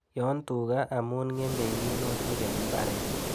Yon tuga amu ng'emei minutik eng mbaret